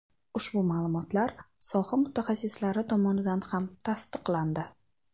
Ushbu ma’lumot soha mutaxassislari tomonidan ham tasdiqlandi.